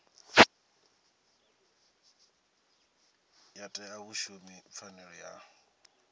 ya ṅea vhashumi pfanelo ya